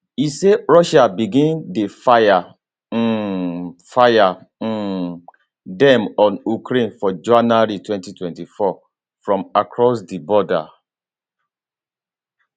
e say russia begin dey fire um fire um dem on ukraine for january 2024 from across di border